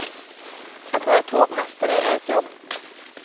Att vara tågmästare är ett jobb.